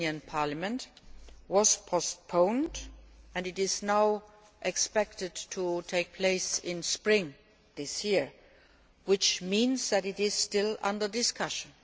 Code was postponed and is now expected to take place in spring this year. This means that it is still under discussion.